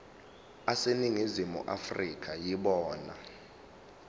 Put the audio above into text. aseningizimu afrika yibona